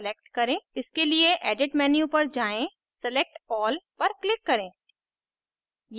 इसके लिए edit menu पर जाएँ select all पर click करें